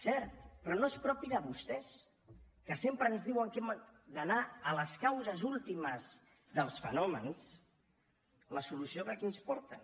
cert però no és propi de vostès que sempre ens diuen que hem d’anar a les causes últimes dels fenòmens la solució que aquí ens porten